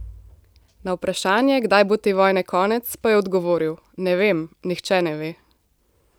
Na vprašanje, kdaj bo te vojne konec, pa je odgovoril: "Ne vem, nihče ne ve".